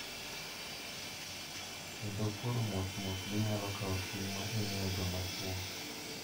Kendo koro mos mos ginyalo kawo ting` ma imiyo joma chwo.